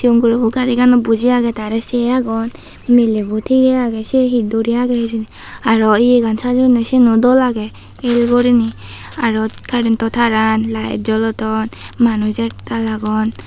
guro gari ganot buji age tare se agon milebo tige age se he duri age hijeni aro ye gan sajeyonde seyano dol age el gurine aro current to taran light jolodon manuch ektaal agon.